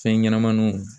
Fɛn ɲɛnɛmaninw